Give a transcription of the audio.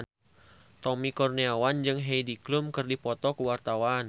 Tommy Kurniawan jeung Heidi Klum keur dipoto ku wartawan